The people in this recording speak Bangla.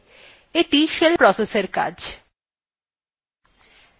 এইটি shell processএর কাজ